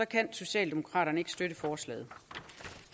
kan socialdemokraterne ikke støtte forslaget